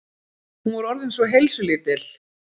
Hún var orðin svo heilsulítil.